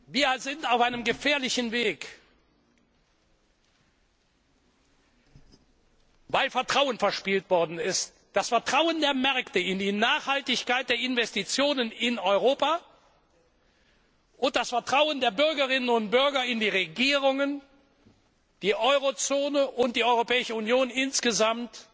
Wir sind auf einem gefährlichen Weg, weil Vertrauen verspielt worden ist das Vertrauen der Märkte in die Nachhaltigkeit der Investitionen in Europa, und das Vertrauen der Bürgerinnen und Bürger in die Regierungen, die Euro Zone und die Europäische Union insgesamt